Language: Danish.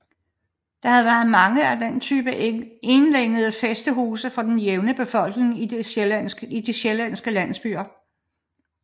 Der har været mange af denne type enlængede fæstehuse for den jævne befolkning i de sjællandske landsbyer